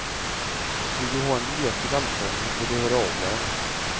Vill du ha en biljett till allsången får du höra av dig.